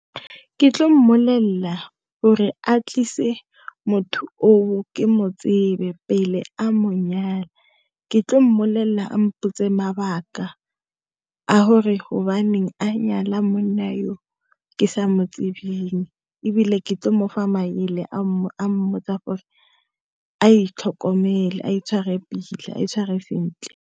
Ke tlo molelela, gore a tlise motho o o, ke mo tsebe pele a monyala. Ke tlo molelela gore a mpotse mabaka a gore gobaneng a nyala mmona yo ke sa motsebeng, ebile ke tlile go mo fa maele a a mmotsa gore a itlhokomele, a itshware pila, a itshware sentle.